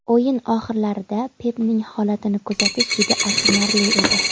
O‘yin oxirlarida Pepning holatini kuzatish juda achinarli edi.